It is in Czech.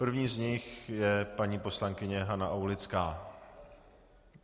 První z nich je paní poslankyně Hana Aulická.